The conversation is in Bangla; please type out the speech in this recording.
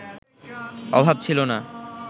অভাব ছিল না